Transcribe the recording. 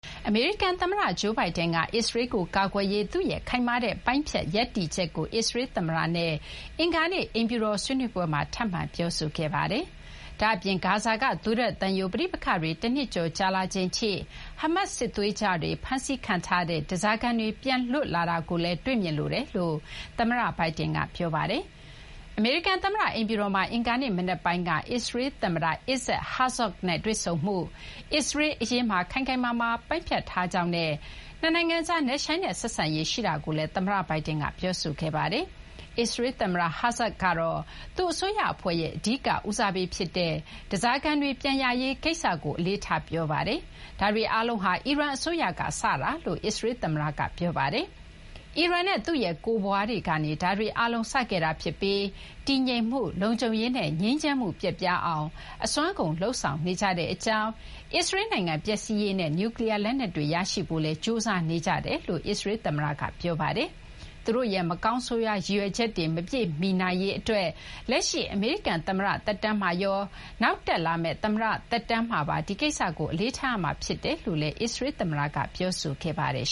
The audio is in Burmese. အမေရိကန် သမ္မတ Joe Biden က အစ္စရေးကို ကာကွယ်ရေး သူ့ရဲ့ ခိုင်မာတဲ့ ပိုင်းဖြတ် ရပ်တည်ချက်ကို အစ္စရေး သမ္မတနဲ့ အင်္ဂါနေ့ အိမ်ဖြူတော် ဆွေးနွေးပွဲမှာ ထပ်မံ ပြောဆိုခဲ့ပါတယ်။ ဒါ့အပြင် ဂါဇာက သွေးထွက်သံယို ပဋိပက္ခတွေ တနှစ်ကျော်ကြာလာချိန်ထိ ဟားမတ် စစ်သွေးကြွတွေဖမ်းဆီးထားတဲ့ ဓားစားခံတွေ ပြန်လွတ်လာတာကိုလည်း တွေ့မြင်လိုတယ်လို့လည်း သမ္မတ Biden က ပြောဆိုခဲ့ပါတယ်။ အမေရိကန် သမ္မတ အိမ်ဖြူတော်မှာ အင်္ဂါနေ့ မနက်ပိုင်းက အစ္စရေး သမ္မတ Isaac Herzog နဲ့ တွေ့ဆုံမှုအတွင်း အစ္စရေး အရေးမှာ ခိုင်ခိုင်မာမာပိုင်းဖြတ်ထားကြောင်းနဲ့ နှစ်နိုင်ငံကြား နက်ရှိုင်းတဲ့ ဆက်ဆံရေး ရှိတာကိုလည်း သမ္မတ Biden က ပြောဆိုခဲ့ပါတယ်။ အစ္စရေး သမ္မတ Herzog ကတော့ သူ့ အစိုးရ အဖွဲ့ရဲ့ အဓိက ဦးစားပေး ဖြစ်တဲ့ ဓားစားခံတွေ ပြန်ရရေး ကိစ္စကို အလေးထား ပြောဆိုခဲ့ပါတယ်။ ဒါတွေ အားလုံးဟာ အီရန် အစိုးရက စတာလို့လည်း အစ္စရေးသမ္မတက ပြောပါတယ်။ အီရန်နဲ့ သူ့ရဲ့ ကိုယ်ပွားတွေကနေ ဒါတွေ အားလုံး စခဲ့တာ ဖြစ်ပြီး တည်ငြိမ်မှု၊ လုံခြုံရေးနဲ့ ငြိမ်းချမ်းမှု ပျက်ပြားအောင် အစွမ်းကုန် လုပ်ဆောင်နေကြကြောင်း အစ္စရေးနိုင်ငံ ပျက်စီးရေးနဲ့ နျူးကလီးယား လက်နက်တွေ ရရှိဖို့လည်း ကြိုးစားနေကြတယ်လို့ အစ္စရေး သမ္မတက ပြောခဲ့ပါတယ်။ သူတို့ရဲ့ မကောင်းဆိုးရွား ရည်ရွယ်ချက်တွေ မပြည့်မီနိုင်ရေး အတွက် လက်ရှိ အမေရိကန် သမ္မတ သက်တမ်းမှာရော နောက်တက်လာမယ့် သမ္မတ သက်တမ်းမှာပါ ဒီကိစ္စကို အလေးထား ရမှာ ဖြစ်တယ်လို့လည်း အစ္စရေးသမ္မတက ပြောဆိုခဲ့ပါတယ်